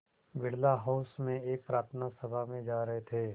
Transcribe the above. Birla house में एक प्रार्थना सभा में जा रहे थे